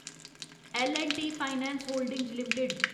L and T finance holdings limited